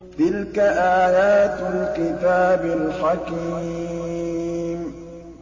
تِلْكَ آيَاتُ الْكِتَابِ الْحَكِيمِ